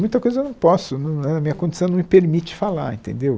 Muita coisa eu não posso, a minha condição não me permite falar, entendeu?